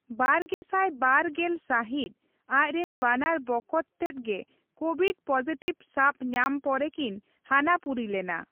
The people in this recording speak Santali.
ᱵᱟᱨᱜᱮᱥᱟᱭ ᱵᱟᱨ ᱜᱮᱞ ᱥᱟᱹᱦᱤᱛ, ᱟᱡᱨᱮᱱ ᱵᱟᱱᱟᱨ ᱵᱚᱠᱚᱛ ᱛᱮᱫ ᱜᱮ ᱠᱳᱵᱷᱤᱰ ᱯᱚᱡᱤᱴᱤᱵᱷ ᱥᱟᱵ ᱧᱟᱢ ᱯᱚᱨᱮᱠᱤᱱ ᱦᱟᱱᱟ ᱯᱩᱨᱤ ᱞᱮᱱᱟ ᱾